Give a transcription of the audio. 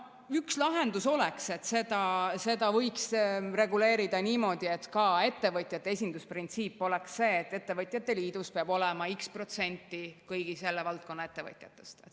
Üks lahendus oleks see: seda võiks reguleerida niimoodi, et ka ettevõtjate esindusprintsiip oleks, et ettevõtjate liidus peab olema x protsenti kõigi selle valdkonna ettevõtjatest.